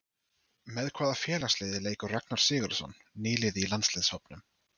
Með hvaða félagsliði leikur Ragnar Sigurðsson, nýliði í landsliðshópnum?